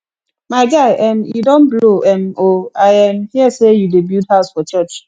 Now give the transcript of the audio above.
my guy um you don blow um oo i um hear say you dey build house for church